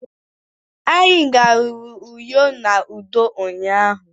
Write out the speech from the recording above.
Anyi garuru Uyo na udo ụnyahụ.